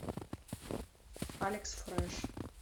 алекс фреш